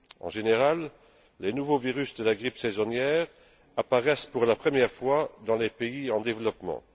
En général, les nouveaux virus de la grippe saisonnière apparaissent pour la première fois dans les pays en développement.